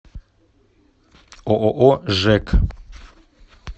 ооо жэк